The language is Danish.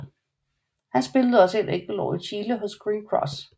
Han spillede også et enkelt år i Chile hos Green Cross